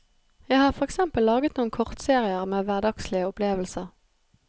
Jeg har for eksempel laget noen kortserier med hverdagslige opplevelser.